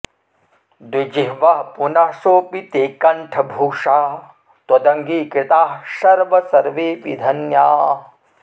द्विजिह्वः पुनः सोऽपि ते कण्ठभूषा त्वदङ्गीकृताः शर्व सर्वेऽपि धन्याः